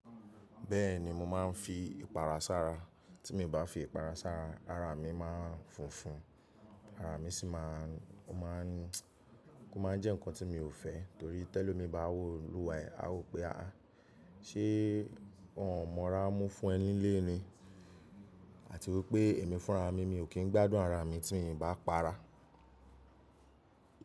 Bẹ́ẹ̀ni mo máa ń fi ìpara sára. Tí mi o bá fi ìpara sára ara mi máa ń funfun, ara mi sì máa ń, ó máa ń, ó máa ń jẹ́ nǹkan tí mi ò fẹ́ torí tẹ́lo míì bá wo olúwà e, a wó pe ah áh, ṣé wọn ò mọra mú fún ẹ nílé ni? Àti wípé èmi fúnra mi, mi ò kí ń gbádùn ara mi tí miì bá para.